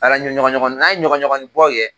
Ala ɲɔgɔɲɔgɔnin n'a ye ɲɔgɔɲɔgɔnin bɔ kɛ